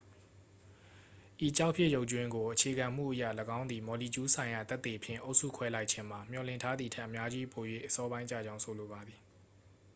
"""ဤကျောက်ဖြစ်ရုပ်ကြွင်းကိုအခြေခံမှုအရ၊ ၎င်းသည် မော်လီကျူးဆိုင်ရာသက်သေဖြင့် အုပ်စုခွဲလိုက်ခြင်းမှာ မျှော်လင့်ထားသည်ထက် အများကြီးပို၍ အစောပိုင်းကျကြောင်း ဆိုလိုပါသည်။